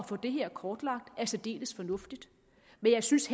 få det her kortlagt er særdeles fornuftigt men jeg synes